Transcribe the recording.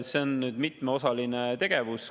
See on mitmeosaline tegevus.